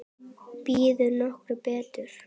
Býður nokkur betur?